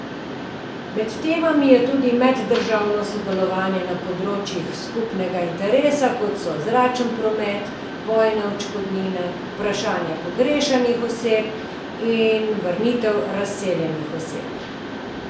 Med temami je tudi meddržavno sodelovanje na področjih skupnega interesa, kot so zračni promet, vojne odškodnine, vprašanje pogrešanih oseb in vrnitev razseljenih oseb.